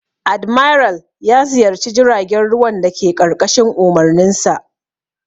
Admiral ya ziyarci jiragen ruwan dake ƙarƙashin umarninsa.